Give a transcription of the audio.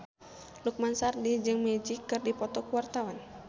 Lukman Sardi jeung Magic keur dipoto ku wartawan